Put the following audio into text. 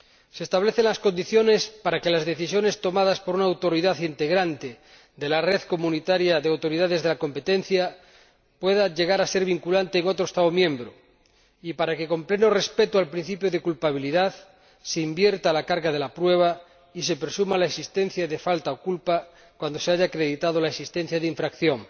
Se establecen las condiciones para que las decisiones tomadas por una autoridad integrante de la red comunitaria de autoridades de la competencia pueda llegar a ser vinculante en otro Estado miembro y para que, con pleno respeto del principio de culpabilidad, se invierta la carga de la prueba y se presuma la existencia de falta o culpa cuando se haya acreditado la existencia de infracción.